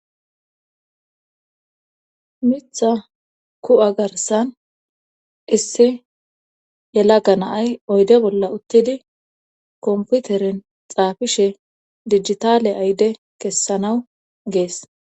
mitha ku7a garsan issi yelaga na'ay oyde bolla uttidi komputerin xaafishe dijitale ayde kessanaw gees